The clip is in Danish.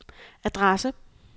adresse